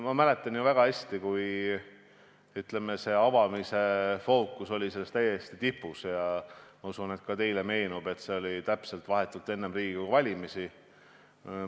Ma mäletan väga hästi, kui selle kooli avamine oli fookuses, ja ma usun, et teilegi meenub, et see oli vahetult enne Riigikogu valimisi.